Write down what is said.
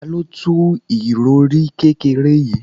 Ta ló tú irori kékeré yìí?